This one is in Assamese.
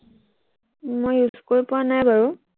মই use কৰি পোৱা নাই বাৰু